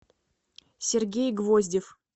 сергей гвоздев